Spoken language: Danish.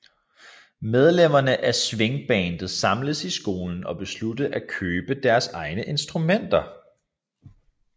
Medlemmerne af swingbandet samles i skolen og beslutter at købe deres egne instrumenter